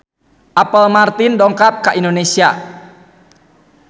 Apple Martin dongkap ka Indonesia